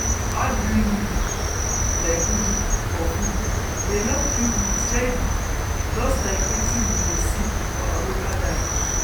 to add green leaf like ugu for food dey help keep milk steady just like wetin we dey see for our local diet.